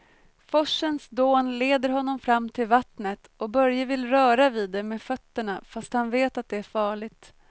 Forsens dån leder honom fram till vattnet och Börje vill röra vid det med fötterna, fast han vet att det är farligt.